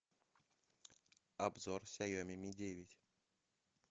обзор ксаеми ми девять